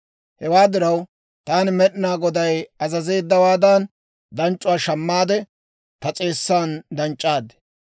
Hewaa diraw, taani Med'inaa Goday azazeeddawaadan danc'c'uwaa shammaade, ta s'eessan danc'c'aad.